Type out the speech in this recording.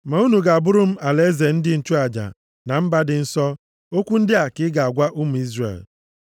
ma unu ga-abụrụ m alaeze ndị nchụaja, na mba dị nsọ.’ Okwu ndị a ka ị ga-agwa ụmụ Izrel.”